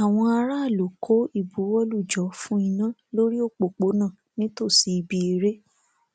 àwọn aráàlú kó ìbuwọlù jọ fún iná lórí òpópónà nítòsí ibi eré